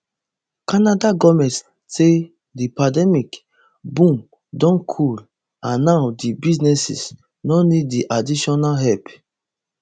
canada goment say di pandemic boom don cool and now di businesses no need di additional help